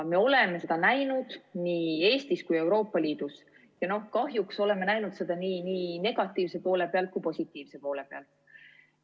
Me oleme seda näinud nii Eestis kui ka Euroopa Liidus, ja kahjuks oleme näinud seda nii negatiivse poole pealt kui ka positiivse poole pealt.